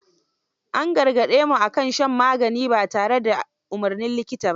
An gargaɗe mu a kan shan magani ba tare da umarnin likita ba.